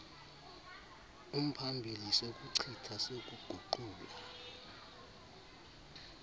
umphambili sokuchitha sokuguqula